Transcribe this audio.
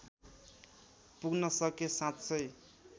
पुग्न सके साँच्चै